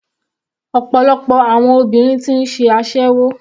Ọ̀pọ̀lọpọ̀ àwọn ọmọbìnrin ti ń ṣe aséwó.